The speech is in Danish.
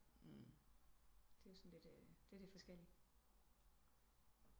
Det er jo sådan lidt eh det er lidt forskellig